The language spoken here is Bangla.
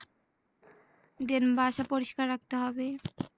Than বাসা পরিস্কার রাখতে হবে